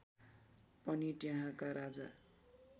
पनि त्यहाँका राजा